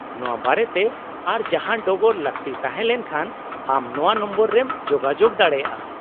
-ᱱᱚᱶᱟ ᱵᱟᱨᱮᱛᱮ ᱟᱨ ᱡᱟᱦᱟᱱ ᱰᱚᱜᱚᱨ ᱞᱟᱹᱠᱛᱤ ᱛᱟᱦᱮᱸ ᱞᱮᱱᱠᱷᱟᱱ ᱟᱢ ᱱᱚᱶᱟ ᱱᱚᱢᱵᱚᱨ ᱨᱮᱢ ᱡᱳᱜᱟᱡᱳᱜ ᱫᱟᱲᱮᱭᱟᱜᱼᱟ ᱾